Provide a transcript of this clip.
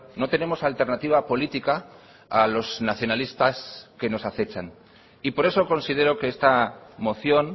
no tenemos alternativa política a los nacionalistas que nos acechan y por eso considero que esta moción